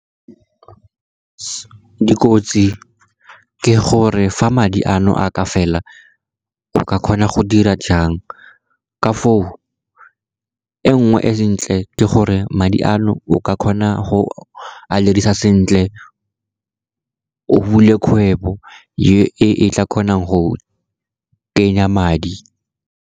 Dikotsi ke gore fa madi ano a ka fela, go ka kgona go dira jang ka foo. E nngwe ntle e ke gore madi ano o ka kgona go a dirisa sentle, o bule kgwebo e tla kgonang go kenya madi.